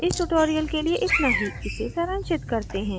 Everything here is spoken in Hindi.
इस tutorial के लिए इतना ही इसे सारांशित करते हैं